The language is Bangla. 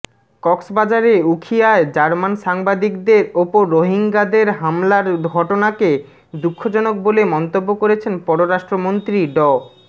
কক্সবাজারের উখিয়ায় জার্মান সাংবাদিকদের ওপর রোহিঙ্গাদের হামলার ঘটনাকে দুঃখজনক বলে মন্তব্য করেছেন পররাষ্ট্রমন্ত্রী ড